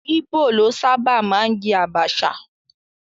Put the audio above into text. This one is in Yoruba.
Íbò ló sábà máa ń jẹ àbàchà